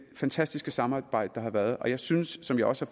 fantastiske samarbejde der har været jeg synes som jeg også